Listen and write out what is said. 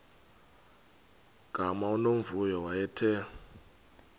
gama unomvuyo wayethe